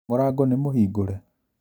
Mũrango nĩ mũhingũre